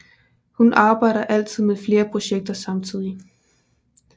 Hun arbejder altid med flere projekter samtidig